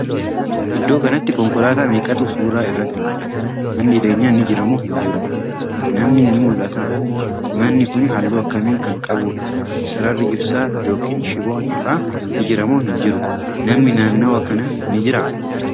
Iddoo kanatti konkolaataa meeqatu suuraa irratti mul'ata?.manni jireenyaa ni Jira moo hin jiru?.namni ni mul'ataa?.manni Kuni halluu akkamii Kan qabuudha?.sararri ibsaa( shiboon ifaa) ni Jira moo hin jiru?.namni naannawa Kana ni jiraa?